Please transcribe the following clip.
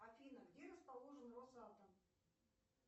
афина где расположен росатом